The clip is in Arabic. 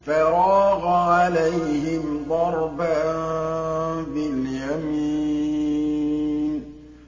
فَرَاغَ عَلَيْهِمْ ضَرْبًا بِالْيَمِينِ